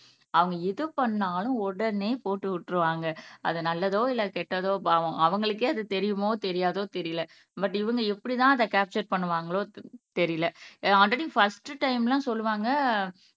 அவங்க எது பண்ணாலும் உடனே போட்டு விட்டுருவாங்க அது நல்லதோ இல்லை கெட்டதோ பாவம் அவங்களுக்கே அது தெரியுமோ தெரியாதோ தெரியலே பட் இவங்க எப்படிதான் அதை கேப்ச்சர் பண்ணுவாங்களோ தெரியலே ஆல்ரெடி பர்ஸ்ட் டைம்லாம் சொல்லுவாங்க